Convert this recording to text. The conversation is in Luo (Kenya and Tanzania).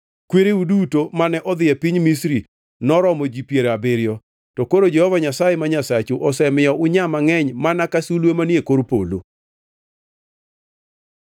Kwereu duto mane odhi e piny Misri noromo ji piero abiriyo, to koro Jehova Nyasaye ma Nyasachu osemiyo unyaa mangʼeny mana ka sulwe manie kor polo.